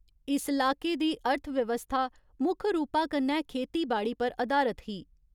इस लाके दी अर्थव्यवस्था मुक्ख रूपा कन्नै खेतीबाड़ी पर अधारत ही।